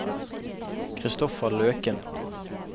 Christopher Løken